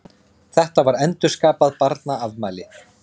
Þetta var endurskapað barnaafmæli.